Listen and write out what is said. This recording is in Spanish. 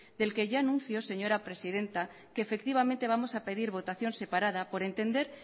del que ya anuncio señora presidenta que efectivamente vamos a pedir votación separada por entender